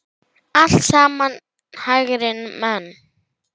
Alltént ekki í þessum heimi.